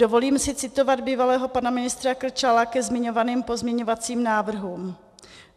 Dovolím si citovat bývalého pana ministra Krčála ke zmiňovaným pozměňovacím návrhům.